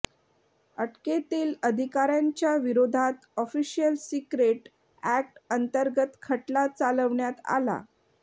अटकेतील अधिकाऱ्यांच्या विरोधात official secret act अंतर्गत खटला चालवण्यात आला